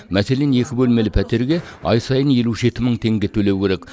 мәселен екі бөлмелі пәтерге ай сайын елу жеті мың теңге төлеу керек